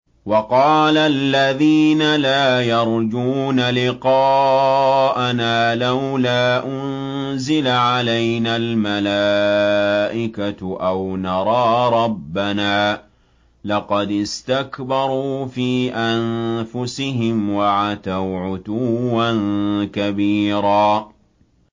۞ وَقَالَ الَّذِينَ لَا يَرْجُونَ لِقَاءَنَا لَوْلَا أُنزِلَ عَلَيْنَا الْمَلَائِكَةُ أَوْ نَرَىٰ رَبَّنَا ۗ لَقَدِ اسْتَكْبَرُوا فِي أَنفُسِهِمْ وَعَتَوْا عُتُوًّا كَبِيرًا